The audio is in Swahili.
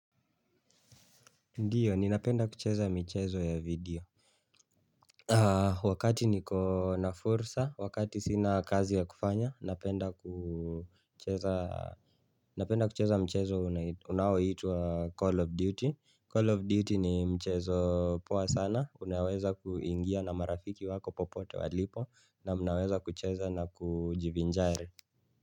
Ndiyo, ninapenda kucheza mchezo ya video Wakati niko na fursa, wakati sina kazi ya kufanya, napenda napenda kucheza mchezo unaoiwa Call of Duty, Call of Duty ni mchezo poa sana, unaweza kuingia na marafiki wako popote walipo na unaweza kucheza na kujivinjari.